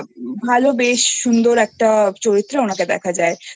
আর একটা ভালো বেশ সুন্দর একটা চরিত্রে ওনাকে দেখা